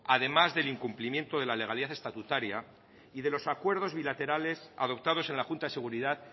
además del incumplimiento de la legalidad estatutaria y de los acuerdos bilaterales adoptados en la junta de seguridad